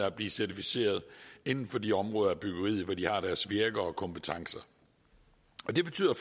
at blive certificeret inden for de områder af byggeriet hvor de har deres virke og kompetencer det betyder